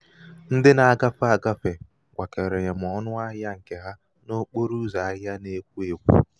ndị nā-āgāfè agafè gwàkànyèrè m ọnụ̣ ahịā ṅ̀ke ha n’okporo ụzọ̀ ahịā na-ekwōèkwò